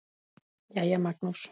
Jæja, Magnús.